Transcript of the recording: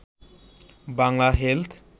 Bangla health